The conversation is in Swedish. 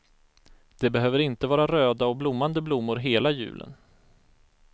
Det behöver inte vara röda och blommande blommor hela julen.